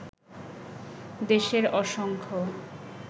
দেশের অসংখ্য